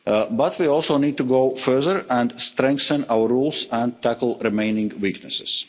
But we also need to go further and strengthen our rules and tackle remaining weaknesses.